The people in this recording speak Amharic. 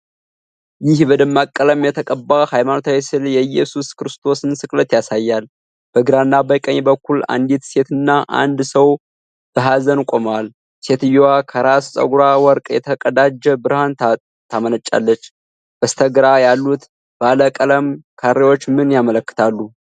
ይህ በደማቅ ቀለም የተቀባ ሃይማኖታዊ ሥዕል የኢየሱስ ክርስቶስን ስቅለት ያሳያል። በግራና በቀኝ በኩል አንዲት ሴትና አንድ ሰው በሐዘን ቆመዋል። ሴትየዋ ከራስ ፀጉሯ ወርቅ የተቀዳጀ ብርሃን ታመነጫለች። በስተግራ ያሉት ባለ ቀለም ካሬዎች ምን ያመለክታሉ?